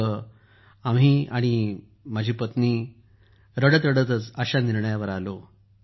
तेव्हा आम्ही पती पत्नी रडत रडतच अशा निर्णयावर आलो